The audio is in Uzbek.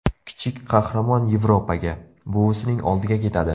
Kichik qahramon Yevropaga, buvisining oldiga ketadi.